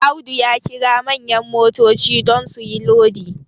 Audu ya kira manyan motoci don su yi Lodi